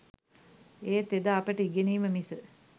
ඒත් එදා අපට ඉගෙනීම මිස